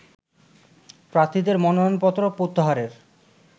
প্রার্থীদের মনোনয়নপত্র প্রত্যাহারের